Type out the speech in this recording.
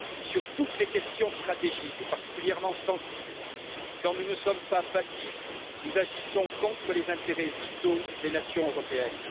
Sur toutes les questions stratégiques particulièrement sensibles, quand nous ne sommes pas passifs, nous agissons contre les intérêts vitaux des nations européennes.